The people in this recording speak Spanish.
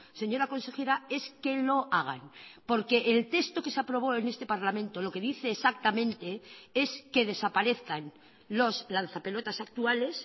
señora consejera es que lo hagan porque el texto que se aprobó en este parlamento lo que dice exactamente es que desaparezcan los lanza pelotas actuales